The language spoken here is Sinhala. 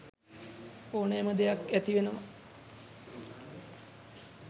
ඕනෑම දෙයක් ඇති වෙනවා